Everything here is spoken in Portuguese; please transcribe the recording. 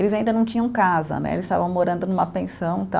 Eles ainda não tinham casa né, eles estavam morando numa pensão